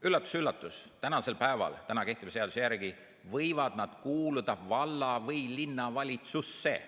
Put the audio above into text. Üllatus‑üllatus, kehtiva seaduse järgi võivad nad kuuluda valla- või linnavalitsusse.